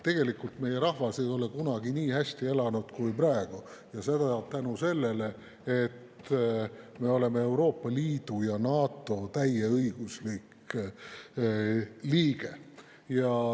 Tegelikult meie rahvas ei ole kunagi nii hästi elanud kui praegu ja seda tänu sellele, et me oleme Euroopa Liidu ja NATO täieõiguslik liige.